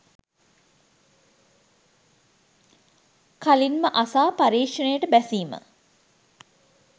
කලින්ම අසා පර්යේෂණයට බැසීම